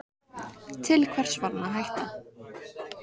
Til hvers var hann að hætta?